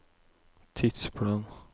tidsplan